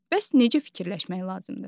Bəs necə fikirləşmək lazımdır?